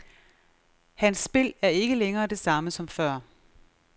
Hans spil er ikke længere det samme som før.